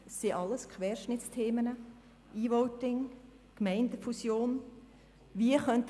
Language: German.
Es sind alles Querschnittsthemen: E-Voting, Gemeindefusion, die Motion Müller «